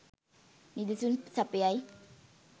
නිදසුන් සපයයි